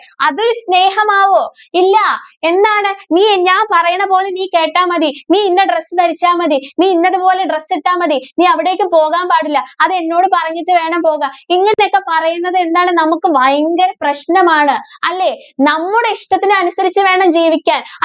നീ കേട്ടാ മതി, നീ ഇന്ന dress ധരിച്ചാ മതി, നീ ഇന്നത്‌ പോലെ dress ഇട്ടാ മതി, നീ അവിടേക്ക് പോകാന്‍ പാടില്ല. അത് എന്നോട് പറഞ്ഞിട്ട് വേണം പോകാന്‍. ഇങ്ങനെയൊക്കെ പറയുന്നത് എന്താണ്? നമുക്ക് ഭയങ്കര പ്രശ്നമാണ്. അല്ലേ? നമ്മുടെ ഇഷ്ടത്തിന് അനുസരിച്ച് വേണം ജീവിക്കാന്‍.